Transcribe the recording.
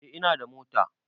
Eh ina da mota